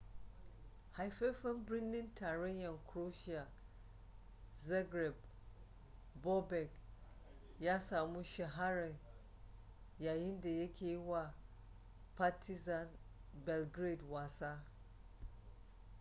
haifafen birnin tarayyan croatia zagreb bobek ya samu shahara yayinda yake yi wa partizan belgrade wasa